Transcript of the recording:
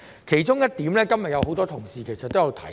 其中一點今日很多同事也有提及。